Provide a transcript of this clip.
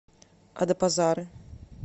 адапазары